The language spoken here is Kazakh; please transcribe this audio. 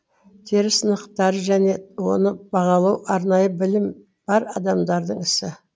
тері сынақтары және оны бағалау арнайы білім бар адамдардың ісі